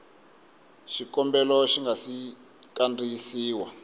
xikombelo xi nga si kandziyisiwa